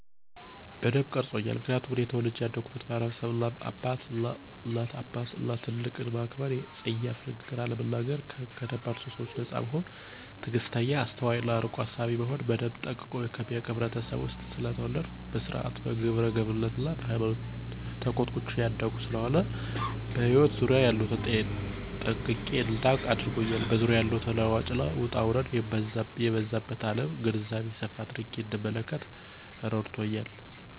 በደንብ ቀርጾኛል ምክንያቱም እኔ ተወልጀ ያደግሁበት ማህበረሰብ እናት አባትን እና ትልቅን ማክበር :ጸያፍ ንግግርን አለመናገር :ከደባል ሱሶች ነጻ መሆንን :ትግስተኛ :አስተዋይ እና አርቆ አሳቢ መሆንን በደንብ ጠንቅቆ ከሚያውቅ ህብረተሰብ ውስጥ ስለተወለድሁ በስርአት :በግብረገብነት እና በሃይማኖት ተኮትኩቸ ያደግሁ ስለሆነ በህይወት ዙሪያየ ያሉትን ጠንቅቄ እዳውቅ አድርጎኛል በዙሪያዋ ያለውን ተለዋዋጭ እና ውጣውረድ የበዛባት አለም ግንዛቤ ሰፋ አድርጌ እንድንመለከት እረድቶኛል።